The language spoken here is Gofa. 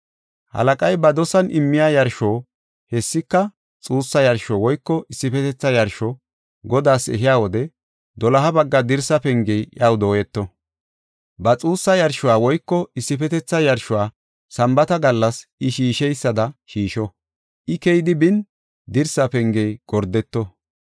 Halaqay ba dosan immiya yarsho, hessika xuussa yarsho woyko issifetetha yarsho Godaas ehiya wode, doloha bagga dirsa pengey iyaw dooyeto. Ba xuussa yarshuwa woyko issifetetha yarshuwa Sambaata gallas I shiisheysada shiisho. I keyidi bin, dirsa pengey gordeto.